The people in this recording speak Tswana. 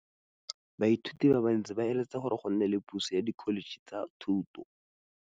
Baithuti ba bantsi ba eletsa gore go nne le pusô ya Dkholetšhe tsa Thuto.